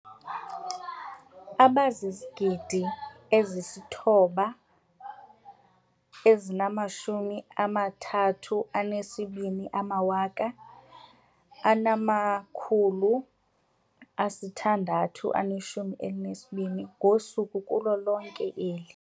9 032 622 ngosuku kulo lonke eli.